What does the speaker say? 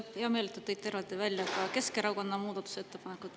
Mul on hea meel, et te tõite eraldi välja ka Keskerakonna muudatusettepanekud.